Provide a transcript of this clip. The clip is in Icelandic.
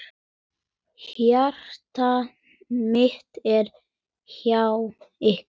Hjarta mitt er hjá ykkur.